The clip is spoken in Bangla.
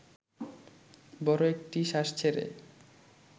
বড় একটি শ্বাস ছেড়ে